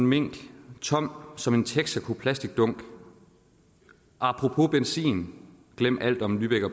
minktom som som en texacoplasticdunkapropos benzinglem alt om lübeck og